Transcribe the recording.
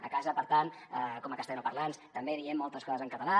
a casa per tant com a castellanoparlants també diem moltes coses en català